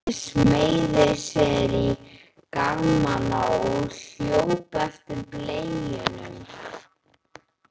Andri smeygði sér í garmana og hljóp eftir beljunum.